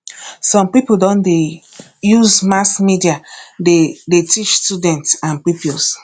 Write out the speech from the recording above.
some people don dey use mass media dey dey teach students and pupils